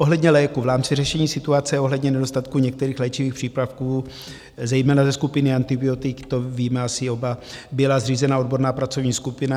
Ohledně léků: v rámci řešení situace ohledně nedostatku některých léčivých přípravků, zejména ze skupiny antibiotik - to víme asi oba - byla zřízena odborná pracovní skupina.